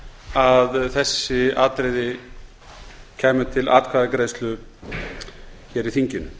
að þessi atriði kæmu til atkvæðagreiðslu hér í þinginu